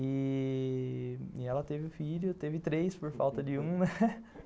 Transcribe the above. E.... ela teve um filho, teve três por falta de um, né.